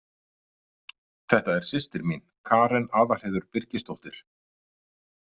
Þetta er systir mín, Karen Aðalheiður Birgisdóttir.